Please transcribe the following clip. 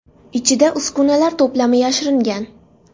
Ichida uskunalar to‘plami yashiringan”.